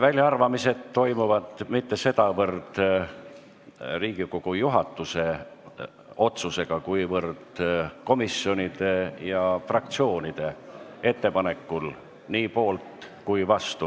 Väljaarvamised toimuvad mitte sedavõrd Riigikogu juhatuse otsusega, kuivõrd komisjonide ja fraktsioonide ettepanekul, nii poolt kui ka vastu.